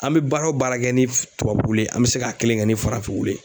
An mɛ baara o baara kɛ ni tubabu wulu ye an bɛ se k'a kelen kɛ ni farafin